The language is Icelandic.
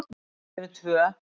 Við erum tvö.